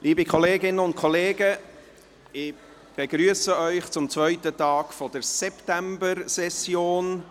Liebe Kolleginnen und Kollegen, ich begrüsse Sie zum zweiten Tag der Septembersession.